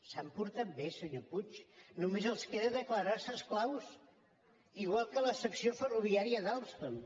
s’han portat bé senyor puig només els queda declarar se esclaus igual que la secció ferroviària d’alstom